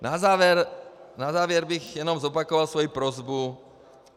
Na závěr bych jenom zopakoval svoji prosbu.